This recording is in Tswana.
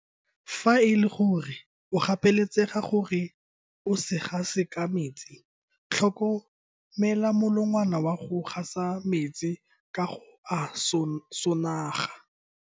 Fa e le gore o gapeletsega gore o se gase ka metsi, tlhomela molongwana wa go gasa metsi ka go a sonaga.